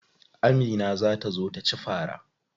Amina za ta zo taci fara.